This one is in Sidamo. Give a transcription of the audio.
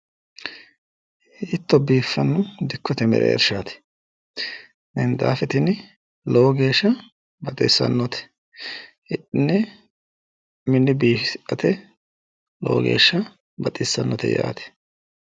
Hiitto biiffanno dikkote merershaati minxaafe tini lowo geeshsha baxissannote hidhine mine biifisirate lowo geeshsha baxissannote.